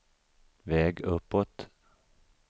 väg uppåt